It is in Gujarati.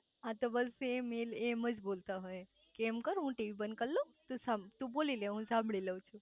હા તો બસ સેમ એમજ બોલતા હોય કે એમ કર હું ટીવી બંધ કરી લવ તુ બોલી લે હું સાંભળી લવ છું